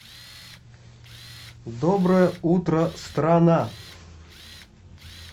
доброе утро страна